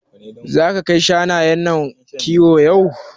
Zaka kai shanayen nan kiwo yau?